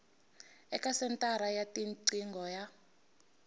eka senthara ya tiqingho ya